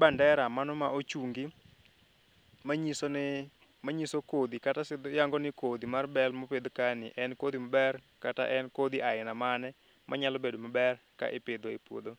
bandera mano ma ochungi manyiso kodhi kendo yango ni kodhi mar bel mopidh kae ni en kodhi maber kata en kodhi aina mane manyalo bedo maber kopidhi e puodho